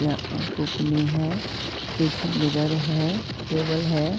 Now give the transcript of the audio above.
यहाँ अ पुकनी है। पीछे मिरर है। टेबल है।